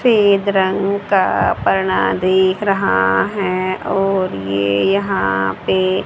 फेद रंग का देख रहा है और ये यहां पे--